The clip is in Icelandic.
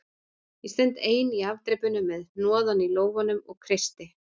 Ég stend ein í afdrepinu með hnoðann í lófanum og kreisti